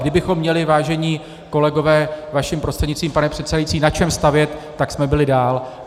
Kdybychom měli, vážení kolegové, vaším prostřednictvím pane předsedající, na čem stavět, tak jsme byli dál.